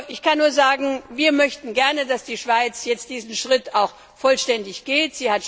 Ich kann nur sagen Wir möchten gern, dass die Schweiz diesen Schritt jetzt auch vollständig geht.